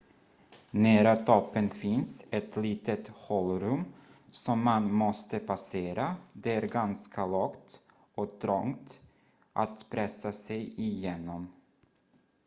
nära toppen finns ett litet hålrum som man måste passera det är ganska lågt och trångt att pressa sig igenom